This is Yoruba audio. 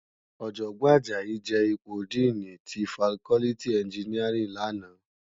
Òjògbòn Ajayi je ipó dìní ti fákòlìtí ènjìníárìn làná